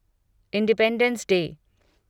independence day